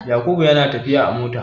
Yakubu yana tafiya a mota.